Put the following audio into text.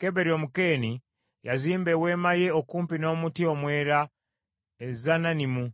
Keberi Omukeeni yazimba eweema ye okumpi n’omuti omwera e Zaanannimu